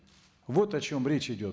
вот о чем речь идет